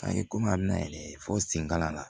A ye komi a bɛ na ye fɔ senkalan na